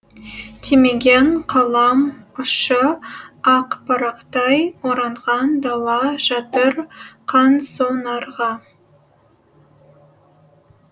тимеген қалам ұшы ақ парақтай оранған дала жатыр қансонарға